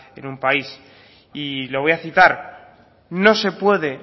en un país y lo voy a citar no se puede